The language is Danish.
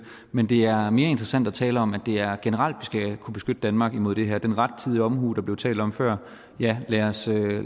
men det er mere interessant at tale om at det er generelt at skal kunne beskytte danmark imod det her den rettidige omhu der blev talt om før ja lad os